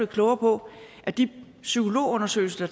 klogere på at de psykologundersøgelser